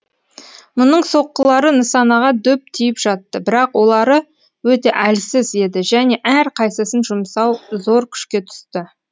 мұның соққылары нысанаға дөп тиіп жатты бірақ олары өте әлсіз еді және әрқайсысын жұмсау зор күшке түсті